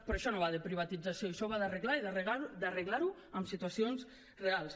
però això no va de privatització això va d’arreglar i d’arreglar ho en situacions reals